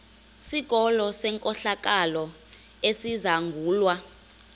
sikolo senkohlakalo esizangulwa